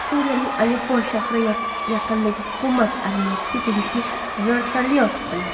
Suriyaning Aleppo shahri yaqinida hukumat armiyasiga tegishli vertolyot quladi.